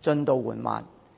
進度緩慢。